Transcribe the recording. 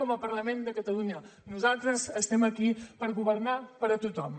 com a parlament de catalunya nosaltres estem aquí per governar per a tothom